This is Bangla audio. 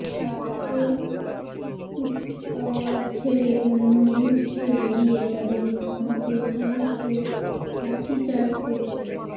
ট্র্যাক্টর কুচকাওয়াজ ছেড়ে অন্য রুট ছেড়ে দিয়ে তাদের থামাতে পুলিশকে লাঠিচার্জ করতে